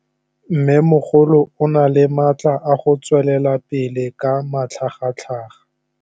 Mmêmogolo o na le matla a go tswelela pele ka matlhagatlhaga.